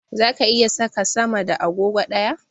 Zaka iya saka sama da agogo ɗaya?